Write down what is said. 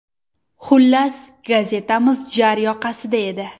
Xullas, gazetamiz jar yoqasida edi.